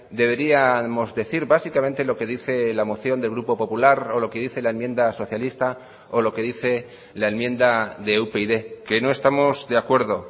deberíamos decir básicamente lo que dice la moción del grupo popular o lo que dice la enmienda socialista o lo que dice la enmienda de upyd que no estamos de acuerdo